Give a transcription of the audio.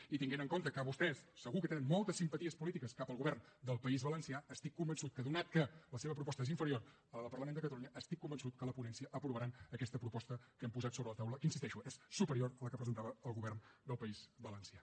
i tenint en compte que vostès segur que tenen moltes simpaties polítiques cap al govern del país valencià estic convençut que atès que la seva proposta és inferior a la del parlament de catalunya a la ponència aprovaran aquesta proposta que hem posat sobre la taula que hi insisteixo és superior a la que presentava el govern del país valencià